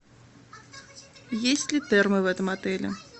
есть ли термы в этом отеле